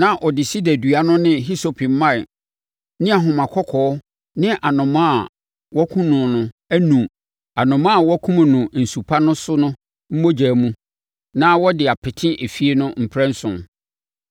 na ɔde sida dua no ne hisope mman ne ahoma kɔkɔɔ ne anomaa a wɔnkum no no anu anomaa a wakum no nsu pa no so no mogya mu na wɔde apete efie no mprɛnson.